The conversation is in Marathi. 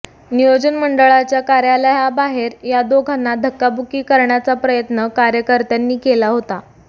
नियोजन मंडळाच्या कार्यालयाबाहेर या दोघांना धक्काबुक्की करण्याचा प्रयत्न कार्यकर्त्यांनी केला होता